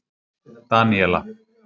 Daníela